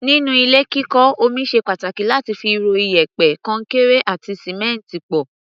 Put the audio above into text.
Nínú ilé kíkọ́, omi ṣe pàtàkì láti fi ro iyẹ̀pẹ̀, kọnkéré àti sìmẹ́ǹtì pọ̀.